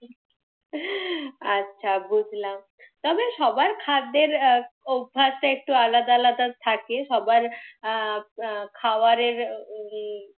আচ্ছা বুঝলাম। তবে সবার খাদ্যের অভ্যাসটা একটু আলাদা আলাদা থাকে, সবার আহ খাওয়ারের উম